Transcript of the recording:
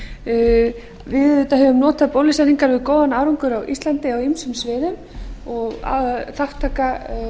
við höfum auðvitða notað bólusetningar með góðum árangri á íslandi á ýmsum sviðum og almenn þátttaka